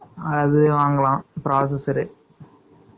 அது வாங்கலாம், processor